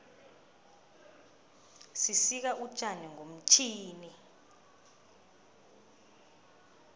sisika utjani ngomtjhini